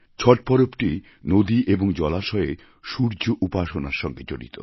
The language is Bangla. ছট পরবটি নদী এবং জলাশয়ে সূর্য উপাসনার সঙ্গে জড়িত